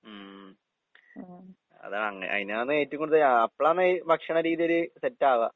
ഉം. അതാണങ്ങനെ. അയിനാന്നേറ്റോം കൂടുതൽ അഹ് അപ്പഴാന്ന് ഭക്ഷണ രീതിയൊര് സെറ്റാവാ.